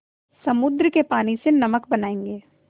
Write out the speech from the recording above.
समुद्र के पानी से नमक बनायेंगे